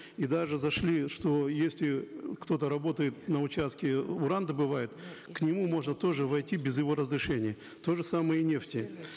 и даже зашли что если кто то работает на участке уран добывает к нему можно тоже войти без его разрешения то же самое и нефти